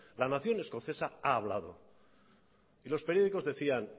la nación escocesa ha hablado y los periódicos decían